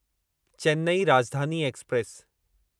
Chennai Rajdhani express